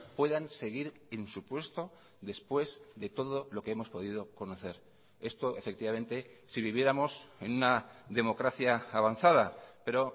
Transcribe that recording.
puedan seguir en su puesto después de todo lo que hemos podido conocer esto efectivamente si viviéramos en una democracia avanzada pero